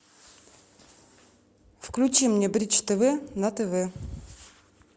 включи мне бридж тв на тв